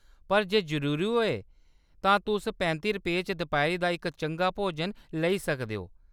पर जे जरूरी होऐ तां तुस पैंती रपेंऽ च दपैह्‌‌री दा इक चंगा भोजन लेई सकदे ओ।